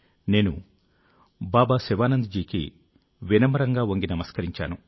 నేను బాబా శివానంద్ జీకి పదే పదే వంగి నమస్కరించాను